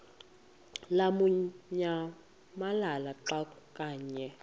lamukunyamalala xa kanye